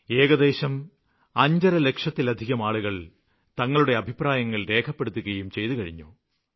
ഏകദേശം അഞ്ചര ലക്ഷത്തിലധികം ആളുകള് തങ്ങളുടെ അഭിപ്രായങ്ങള് രേഖപ്പെടുത്തുകയും ചെയ്തുകഴിഞ്ഞു